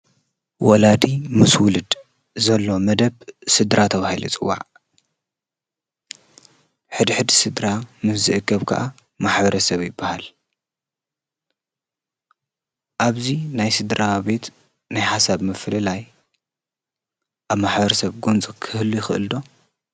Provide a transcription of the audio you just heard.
ወላዲ ምስ ውሉድ ዘሎ መደብ ስድራ ተባሂሉ ይፅዋዕ፡፡ ሕድሕድ ስድራ ምስ ዝእከብ ከዓ ማሕበረሰብ ይባሃል፡፡ ኣብዚ ናይ ስድራቤት ናይ ሓሳብ ምፍልላይ ኣብ ማ/ሰብ ጎንፂ ክህሉ ይኸእል ዶ?